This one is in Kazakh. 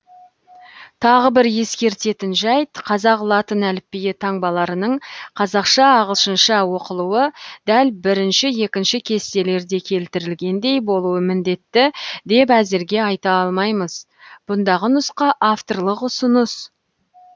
тағы бір ескертетін жәйт қазақ латын әліпбиі таңбаларының қазақша ағылшынша оқылуы дәл бірінші екінші кестелерде келтірілгендей болуы міндетті деп әзірге айта алмаймыз бұндағы нұсқа авторлық ұсыныс